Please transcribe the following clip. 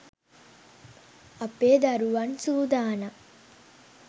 අපේ දරුවන් සූදානම්.